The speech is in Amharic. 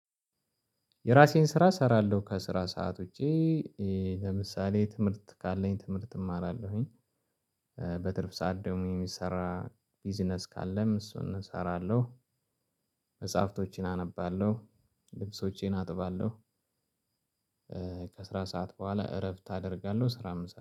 የራሴን ስራ እሰራለሁ ከስራ ሰዓት ውጪ ለምሳሌ ትምህርት ካለኝ ትምህርት እማራለሁኝ። በትርፍ ሰዓት ደግሞ የሚሰራ ቢዝነስ ካለም እሱን እሰራለሁ። መጽሐፍቶቼን አነባለሁ። ልብሶቼን አጥባለሁ። ከስራ ሰዓት ቡሀላ እረፍት አደርጋለሁ ስራም